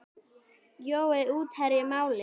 Jói útherji málið?